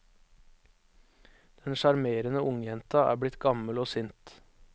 Den sjarmerende ungjenta er blitt gammel og sint.